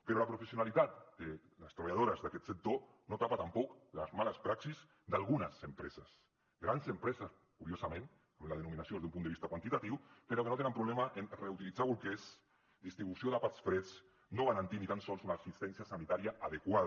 però la professionalitat de les treballadores d’aquest sector no tapa tampoc les males praxis d’algunes empreses grans empreses curiosament en la denominació des d’un punt de vista quantitatiu però que no tenen problema en reutilitzar bolquers distribució d’àpats freds no garantir ni tan sols una assistència sanitària adequada